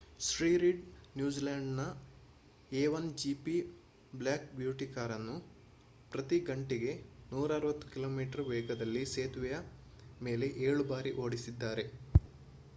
Shri Reid ನ್ಯೂಜಿಲೆಂಡ್‌ನ A 1 GP Black Beauty ಕಾರನ್ನು ಪ್ರತಿ ಗಂಟೆಗೆ 160 ಕಿ.ಮೀ ವೇಗದಲ್ಲಿ ಸೇತುವೆಯ ಮೇಲೆ ಏಳು ಬಾರಿ ಓಡಿಸಿದ್ದಾರೆ